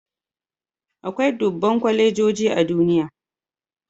Akwai dubban kwalejoji a duniya